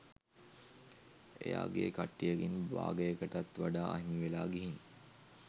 එයාගේ කට්ටියගෙන් භාගයකටත් වඩා අහිමිවෙලා ගිහින්